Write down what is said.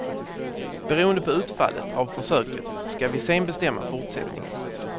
Beroende på utfallet av försöket ska vi sen bestämma fortsättningen.